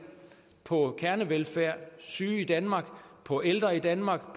på kernevelfærd syge i danmark på ældre i danmark